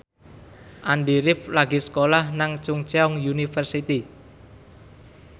Andy rif lagi sekolah nang Chungceong University